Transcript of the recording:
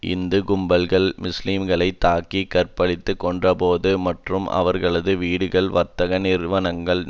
இந்து கும்பல்கள் முஸ்லீம்களை தாக்கி கற்பழித்து கொன்றபோது மற்றும் அவர்களது வீடுகளையும் வர்த்தக நிறுவனங்கள்